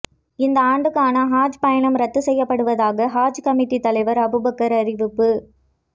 இந்த ஆண்டுக்கான ஹஜ் பயணம் ரத்து செய்யப்படுவதாக ஹஜ் கமிட்டி தலைவர் அபுபக்கர் அறிவிப்பு